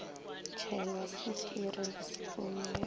tšhelwa swikiri le sopo ye